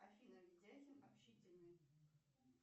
афина видяхин общительный